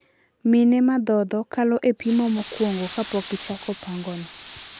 Mine madhodho kalo e pimo mokwongo kapokichako pango no.